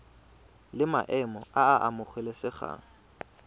la maemo a a amogelesegang